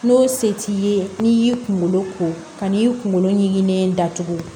N'o se t'i ye n'i y'i kunkolo ko ka n'i kunkolo ɲiginlen datugu